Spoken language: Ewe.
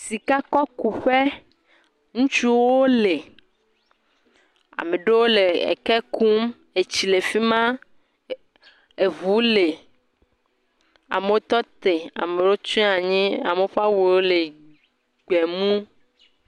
Sikakɔkuƒe. Ŋutsuwo le. Ame ɖewo le eke kum. Etsi le efi ma. Eŋu le. Amewo tɔ te ame ɖewo tsia anyi. Ame ɖewo ƒe awu wo le gbe mu.